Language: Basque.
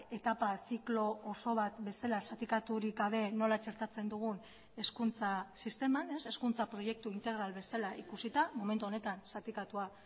etapa ziklo oso bat bezala zatikaturik gabe nola txertatzen dugun hezkuntza sisteman hezkuntza proiektu integral bezala ikusita momentu honetan zatikatua